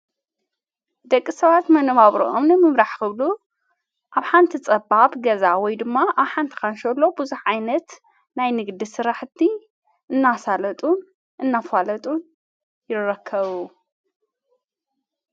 ደቂ ሰባት መነባብሮኦምኒ ምብራሕ ኽብሉ ኣብ ሓንቲ ጸባብ ገዛ ወይ ድማ ኣሓንትካንሸሎ ብዙኅ ዓይነት ናይ ንግዲ ሥራሕቲ እናሣለጡን እናፈለጡን ይረከቡ።